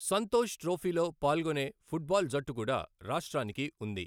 సంతోష్ ట్రోఫీలో పాల్గొనే ఫుట్బాల్ జట్టు కూడా రాష్ట్రానికి ఉంది.